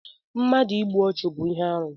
Mmadụ ịgbụ ọchu bú ihe arụ